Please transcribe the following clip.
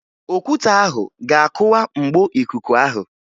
Okwute ahụ ga-akụwa mgbo ikuku ahụ